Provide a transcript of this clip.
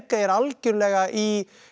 er algjörlega í í